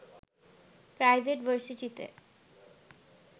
private ভার্সিটিতে